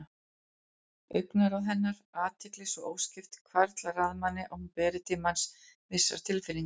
Augnaráð hennar, athygli svo óskipt, hvarflar að manni að hún beri til manns vissar tilfinningar.